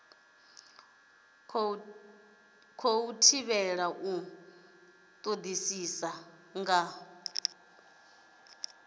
khou thivhelwa u todisisa nga